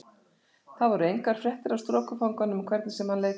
Þar voru engar fréttir af strokufanganum hvernig sem hann leitaði.